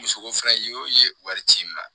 Muso ko fɛnɛ y'o ye wari ci n ma